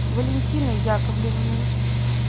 валентиной яковлевной